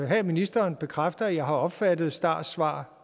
have at ministeren bekræfter at jeg har opfattet stars svar